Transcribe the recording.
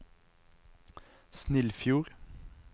Snillfjord